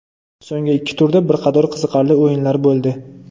So‘nggi ikki turda bir qator qiziqarli o‘yinlar bo‘ldi.